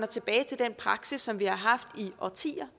tilbage til den praksis som vi tidligere har haft i årtier